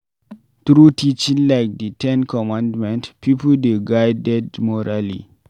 Through teaching like di ten commandment, pipo dey guided morally